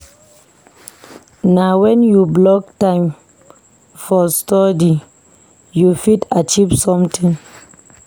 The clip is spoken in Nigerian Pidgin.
Na wen you block time for study you fit achieve sometin.